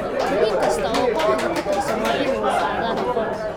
Xubin kasta oo kooxda ka tirsan waa inuu lahaadaa rikoor.